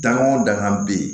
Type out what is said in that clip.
Da o dangan bɛ ye